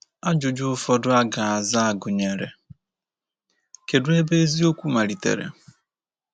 Ajụjụ ụfọdụ a ga-aza gụnyere: Kedụ ebe eziokwu malitere?